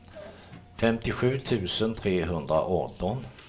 femtiosju tusen trehundraarton